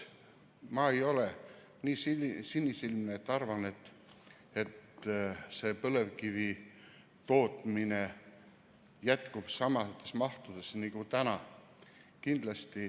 Ma ei ole nii sinisilmne, et arvata, et põlevkivi tootmine jätkub samas mahus nagu täna.